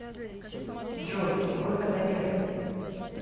джой выхода нет